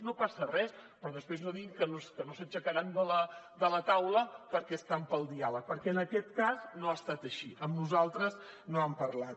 no passa res però després no diguin que no s’aixecaran de la taula perquè estan pel diàleg perquè en aquest cas no ha estat així amb nosaltres no n’han parlat